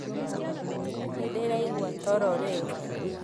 Nĩndĩraigua toro rĩu